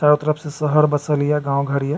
चारो तरफ से शहर बसल ये गांव घर ये।